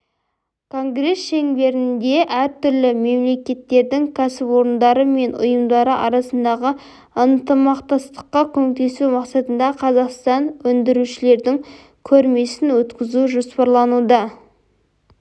конгресс шеңберінде әртүрлі мемлекеттердің кәсіпорындары мен ұйымдары арасындағы ынтымақтастыққа көмектесу мақсатында қазақстандық өндірушілердің көрмесін өткізу жоспарлануда